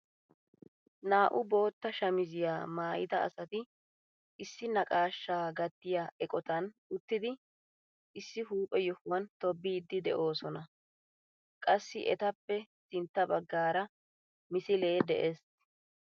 Naa"u bootta shamisiyaa maayida asati issi naqashshaa gattiyaa eqotan uttidi issi huuphphe yohuwaan tobbiidi de'oosona. qassi etappe sintta baggaara misilee de'ees.